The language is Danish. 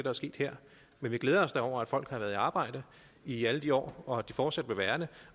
er sket her men vi glæder os da over at folk har været i arbejde i alle de år og at de fortsat vil være det